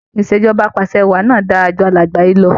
Ìṣèjọba apàṣẹwàá náà dára ju alàgbà yìí lọ.